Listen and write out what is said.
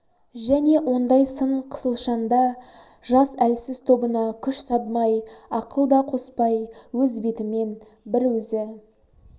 және ондай сын қысылшанда жас әлсіз тобына күш садмай ақыл да қоспай өз бетімен бір өзі